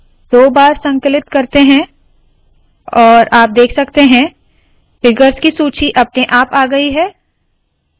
मैं दो बार संकलन करती हूँ और आप देख सकते है फिगर्स की सूची अपने आप आ गयी है